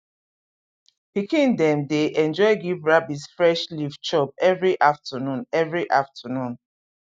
pikin dem dey enjoy give rabbit fresh leaf chop every afternoon every afternoon